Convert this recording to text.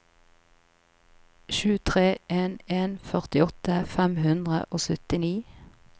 sju tre en en førtiåtte fem hundre og syttini